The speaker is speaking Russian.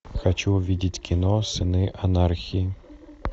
хочу увидеть кино сыны анархии